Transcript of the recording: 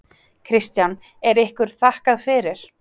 Kristján: Er ykkur þakkað fyrir?